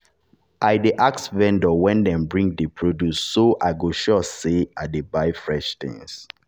i dey ask vendor when dem bring the produce so i go go sure say i dey buy fresh things.